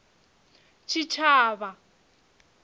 tshitshavha